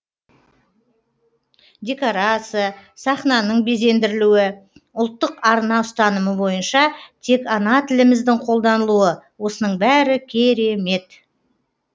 декорация сахнаның безендірілуі ұлттық арна ұстанымы бойынша тек ана тіліміздің қолданылуы осының бәрі керемет